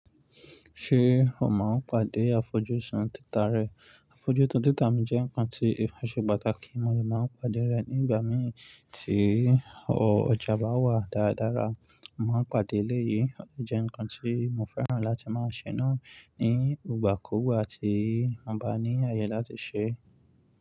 Ṣé o máa ń pàdé àfojúsùn títà rẹ? Àfojúsùn títà mi jẹ́ nǹkan tí ìfa ṣe pàtàkì, mo lè máa ń pàdé rẹ̀ nígbà mì tí ọjà bá wà dáradára. Mọ̀ maa n pàdé eléyìí, ó jẹ́ ǹkan tí mo fẹ́ràn láti máa ṣe náà ní ìgbà kúùgbà tí mo bá ní ayé láti ṣeé.